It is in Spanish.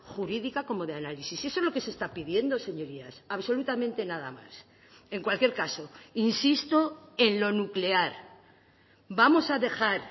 jurídica como de análisis eso es lo que se está pidiendo señorías absolutamente nada más en cualquier caso insisto en lo nuclear vamos a dejar